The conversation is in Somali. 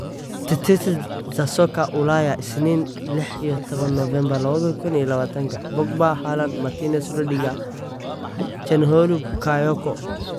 Tetesi za Soka Ulaya Isniin lix iyo tawan novembar lawadha kun iyo lawatanka: Pogba, Haaland, Martinez, Rudiger, Calhanoglu, Bakayoko